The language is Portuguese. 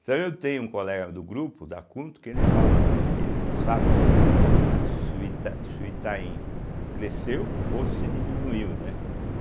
Então eu tenho um colega do grupo, da cunto, que ele fala né, que ele não sabe, né se o Ita se o Itaim cresceu ou se diminuiu, né.